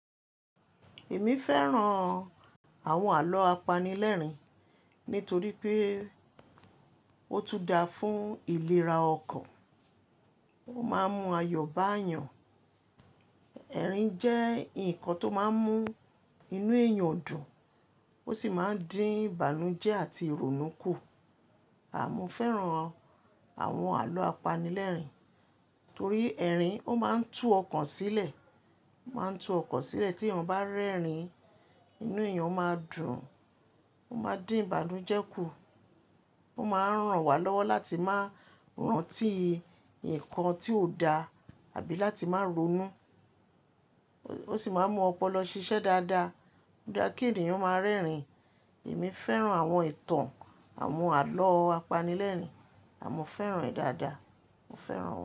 Èmi fẹ́ràn àwọn àlọ́ apanilẹ́rìn nítorí pé ó tún dáa fún ìlera ọkàn. Ó máa ń mú ayọ̀ bá eyàn. Ẹ̀rín jẹ́ ǹkan tó máa ń mú inú èèyàn dùn. Ó sì máa ń dín ìbànújẹ́ àti ìrònú kù. À mo fẹ́ràn àwọn àlọ́ apanilẹ́rìn torí ẹ̀rín ó máa ń tú ọkàn sílẹ̀, ó máa ń tú ọkọ̀ sílẹ̀ tí èèyàn bá rẹ́rìn inú èèyàn ó máa dùn. Ó máa dín ìbànújẹ́ kù. Ó máa ń ràn wá lọ́wọ́ láti máa rántí ǹkan tí ó dáa àbí láti máa ronú. Ó sì máa mú ọpọlọ ṣiṣẹ́ dáadáa. Ó dára kí ènìyàn ó máa rẹ́rìn. Èmi fẹ́ràn àwọn ìtàn àwọn àlọ́ apanilẹ́rìn. A mo fẹ́ràn rẹ̀ dáadáa. Mo fẹ́ràn wọ́n.